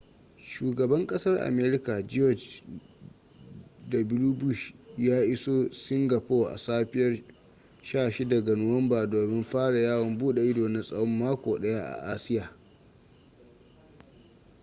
shugaban kasar america george w bush ya iso singapore a safiya 16 ga nuwanba domin fara yawon bude ido na tsawon mako daya a asiya